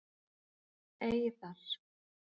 Eiðar